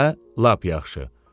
Hə, lap yaxşı.